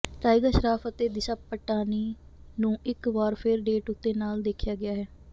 tiger Shroff ਅਤੇ ਦਿਸ਼ਾ ਪਟਾਨੀ ਨੂੰ ਇੱਕ ਵਾਰ ਫਿਰ ਡੇਟ ਉੱਤੇ ਨਾਲ ਦੇਖਿਆ ਗਿਆ ਹੈ